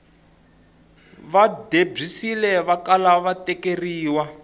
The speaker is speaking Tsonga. va debyisile vakala va tekeriwa